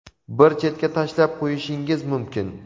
bir chetga tashlab qo‘yishingiz mumkin.